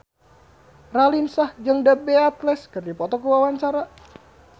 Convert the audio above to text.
Raline Shah jeung The Beatles keur dipoto ku wartawan